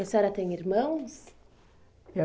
E a senhora tem irmãos?